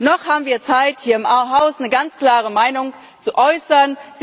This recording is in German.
Noch haben wir Zeit, hier im Haus eine ganz klare Meinung zu äußern.